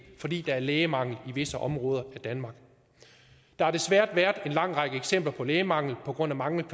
fordi der er lægemangel i visse områder af danmark der har desværre været en lang række eksempler på lægemangel på grund af manglende